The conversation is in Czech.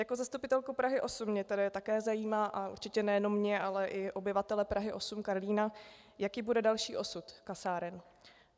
Jako zastupitelku Prahy 8 mě tedy také zajímá, a určitě nejenom mě, ale i obyvatele Prahy 8 - Karlína, jaký bude další osud kasáren.